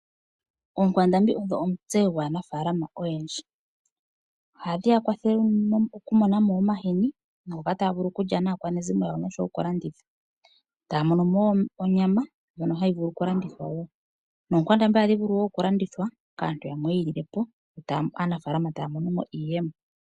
Oonkwandambi odho omutse gwaanafalama oyendji, ohadhi ya kwathele oku mona mo omohini ngoka taya vulu okulya naakwanezimo yawo, oshowo okulanditha. Taya mono mo wo onyama ndjono hayi vulu oku landithwa wo, noonkwandambi ohadhi vulu wo oku landithwa kaantu yamwe yi ililepo, aanafalama etaya mono mo iiyemo.